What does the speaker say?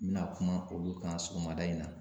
N bɛna kuma olu kan sɔgɔmada in na